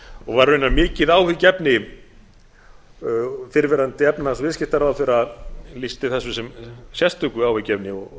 og var raunar mikið áhyggjuefni fyrrverandi efnahags og viðskiptaráðherra lýsti þessu sem sérstöku áhyggjuefni og